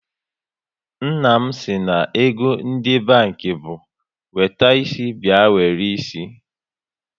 Nna m si na ego ndị banki bụ wete isi bịa were isi